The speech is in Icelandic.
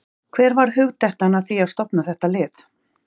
Hver varð hugdettan að því að stofna þetta lið?